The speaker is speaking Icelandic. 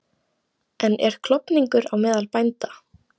En er klofningur á meðal bænda?